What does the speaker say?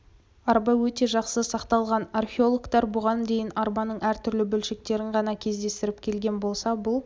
арба өте жақсы сақталған археологтар бұған дейін арбаның әр түрлі бөлшектерін ғана кезіктіріп келген болса бұл